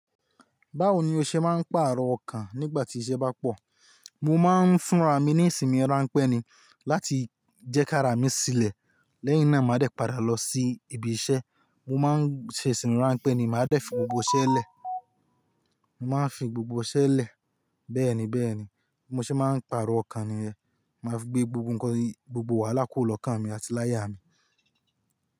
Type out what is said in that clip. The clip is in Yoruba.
Báwo ni o ṣe máa ń pàrọ̀ ọkàn nígbà tí iṣẹ́ bá pọ̀? Mo máa ń fúnra mi ní ìsinmi ránpẹ́ ni láti jẹ́ kí ara mi sílẹ̀ lẹ́yìn náà màá dé padà lọ sí ibi iṣẹ́. Mo máa ń ṣe ìsìnmi ránpẹ́ ni, màá dẹ́ fi gbogbo iṣẹ́ lẹ̀. Mo máa ń fi gbogbo iṣẹ́ lẹ̀ bẹ́ẹ̀ni bẹ́ẹ̀ni. Bi mo ṣe máa ń pàrọ̀ ọkàn ni yẹ́n. Màá fi gbé gbogbo ǹkan ni gbogbo wàhálà kúro lọ́kàn mi àti láyà mi.